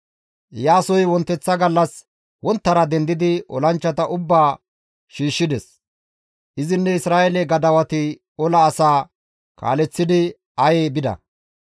Iyaasoy wonteththa gallas wonttara dendidi olanchchata ubbaa shiishshides; izinne Isra7eele gadawati ola asaa kaaleththidi Aye bida.